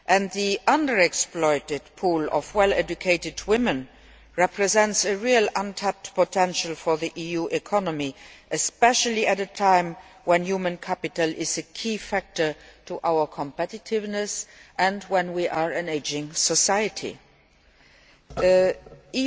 The under exploited pool of well educated women represents real untapped potential for the EU economy, especially at a time when human capital is a key factor in terms of our competitiveness and when, as a society, we are ageing.